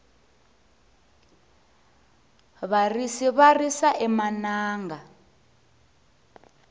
varisi va risa emananga